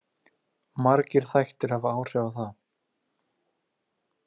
Margir þættir hafa áhrif á það.